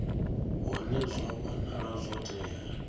hune zwa wanala zwo tea